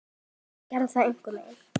Sigga gerði það ein.